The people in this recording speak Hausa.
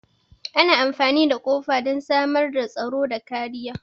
Ana amfani da kofa don samar da tsaro da kariya.